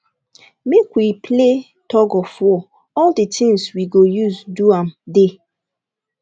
make we play tug of of war all the things we go use do am dey